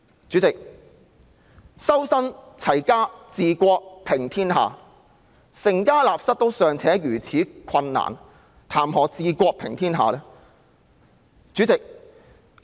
主席，所謂"修身、齊家、治國、平天下"，當成家立室尚且如此困難時，還談甚麼"治國、平天下"呢？